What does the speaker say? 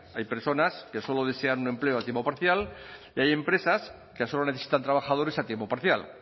hay personas que solo desean un empleo a tiempo parcial y hay empresas que solo necesitan trabajadores a tiempo parcial